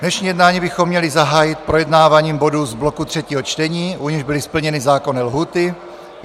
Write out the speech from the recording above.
Dnešní jednání bychom měli zahájit projednáváním bodů z bloku třetího čtení, u nichž byly splněny zákonné lhůty.